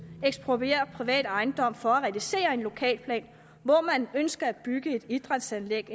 eksproprierer privat ejendom for at realisere en lokalplan hvor man ønsker at bygge et idrætsanlæg